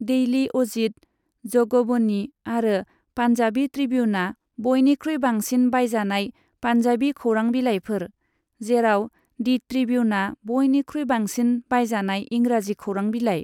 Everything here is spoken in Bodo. डेइली अजीत, जगबनी आरो पान्जाबी ट्रिबिउनआ बयनिख्रुइ बांसिन बायजानाय पान्जाबी खौरां बिलाइफोर, जेराव दि ट्रिबिउनआ बयनिख्रुइ बांसिन बायजानाय इंराजि खौरां बिलाइ।